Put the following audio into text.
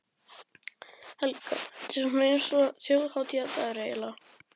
Helga: Þetta er svona eins og þjóðhátíðardagur, eiginlega?